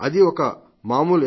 అదీ ఒక మామూలు ఎస్